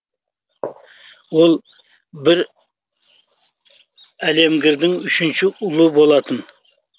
ол бір әлемгірдің үшінші ұлы болатын